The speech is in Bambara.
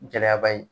Gɛlɛyaba ye